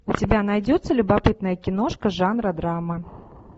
у тебя найдется любопытная киношка жанра драма